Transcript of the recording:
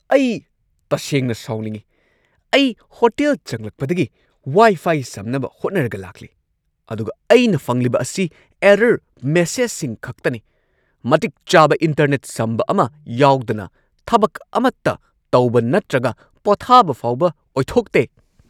ꯑꯩ ꯇꯁꯦꯡꯅ ꯁꯥꯎꯅꯤꯡꯉꯤ! ꯑꯩ ꯍꯣꯇꯦꯜ ꯆꯪꯂꯛꯄꯗꯒꯤ ꯋꯥꯢ-ꯐꯥꯢ ꯁꯝꯅꯕ ꯍꯣꯠꯅꯔꯒ ꯂꯥꯛꯂꯤ, ꯑꯗꯨꯒ ꯑꯩꯅ ꯐꯪꯂꯤꯕ ꯑꯁꯤ ꯑꯦꯔꯔ ꯃꯦꯁꯦꯖꯁꯤꯡ ꯈꯛꯇꯅꯤ꯫ ꯃꯇꯤꯛ ꯆꯥꯕ ꯏꯟꯇꯔꯅꯦꯠ ꯁꯝꯕ ꯑꯃ ꯌꯥꯎꯗꯅ ꯊꯕꯛ ꯑꯃꯠꯇ ꯇꯧꯕ ꯅꯠꯇ꯭ꯔꯒ ꯄꯣꯊꯥꯕ ꯐꯥꯎꯕ ꯑꯣꯏꯊꯣꯛꯇꯦ꯫